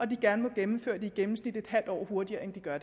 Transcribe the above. de gerne må gennemføre den i gennemsnit et halvt år hurtigere end de gør